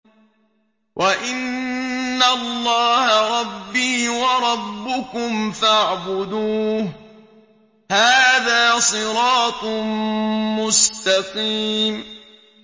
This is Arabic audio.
وَإِنَّ اللَّهَ رَبِّي وَرَبُّكُمْ فَاعْبُدُوهُ ۚ هَٰذَا صِرَاطٌ مُّسْتَقِيمٌ